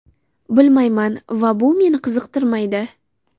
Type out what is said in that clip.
Bilmayman va bu meni qiziqtirmaydi.